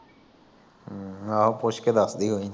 ਹਮ ਆਹੋ ਪੁੱਛੇ ਕੇ ਦੱਸਦੀ ਕੋਈ ਨਹੀ।